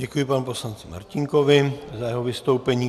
Děkuji panu poslanci Martínkovi za jeho vystoupení.